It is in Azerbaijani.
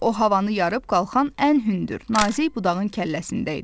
O havanı yarıb qalxan ən hündür, nazik budağın kəlləsində idi.